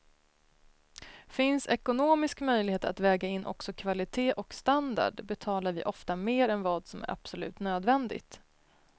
Finns ekonomisk möjlighet att väga in också kvalitet och standard betalar vi ofta mer än vad som är absolut nödvändigt.